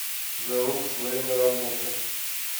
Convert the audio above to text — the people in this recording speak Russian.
зе рукс время работы